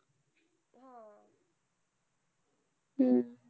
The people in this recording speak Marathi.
हम्म